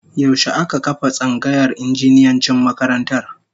Yaushe aka kafa tsangayar injiniyancin makarantar?